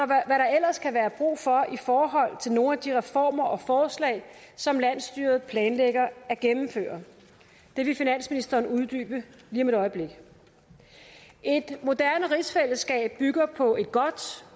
der ellers kan være brug for i forhold til nogle af de reformer og forslag som landsstyret planlægger at gennemføre det vil finansministeren uddybe lige om et øjeblik et moderne rigsfællesskab bygger på et godt